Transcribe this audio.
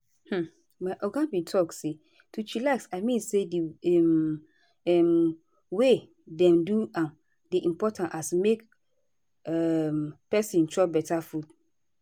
hmm my oga bin talk say to chillax i mean say di um um way dem do am dey impotant as make um peson chop beta food.